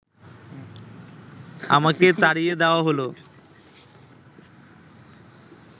আমাকে তাড়িয়ে দেওয়া হল